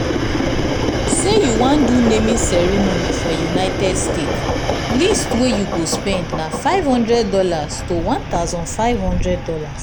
say you wan do naming ceremony for united states least wey you go spend na five hundred dollars to $1500